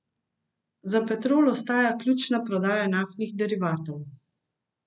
Za Petrol ostaja ključna prodaja naftnih derivatov.